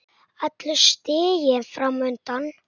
Allur stiginn fram undan.